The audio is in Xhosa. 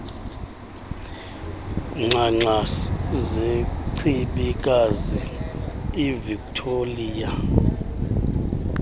ngxangxasi zechibikazi ivictoliya